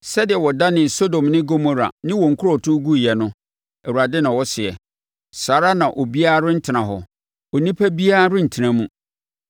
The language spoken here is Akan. Sɛdeɛ wɔdanee Sodom ne Gomora ne wɔn nkurotoɔ guiɛ no,” Awurade na ɔseɛ, “saa ara na obiara rentena hɔ; onipa biara rentena mu.